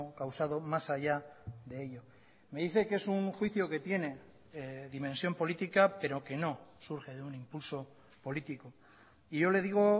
causado más allá de ello me dice que es un juicio que tiene dimensión política pero que no surge de un impulso político y yo le digo